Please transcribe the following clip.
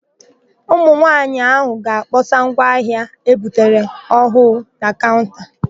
Ụmụnwaanyị áhụ̀ ga-akpọsa ngwa ahịa e butere ọhụụ na kaụnta.